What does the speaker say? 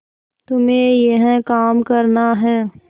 तुम्हें यह काम करना है